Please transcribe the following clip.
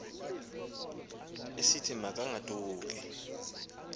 esithi ma kagoduke